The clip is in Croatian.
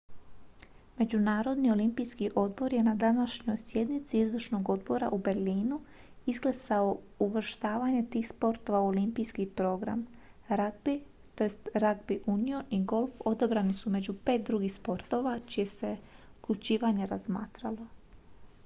međunarodni olimpijski odbor je na današnjoj sjednici izvršnog odbora u berlinu izglasao uvrštavanje tih sportova u olimpijski program ragbi tj ragbi union i golf odabrani su među pet drugih sportova čije se uključivanje razmatralo